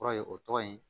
Kɔrɔ ye o tɔgɔ in